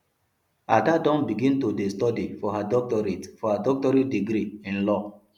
ada don begin to dey study for her doctorate for her doctorate degree in law